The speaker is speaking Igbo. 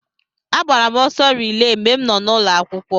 Agbara m ọsọ rilee mgbe m nọ n'ụlọ akwụkwọ.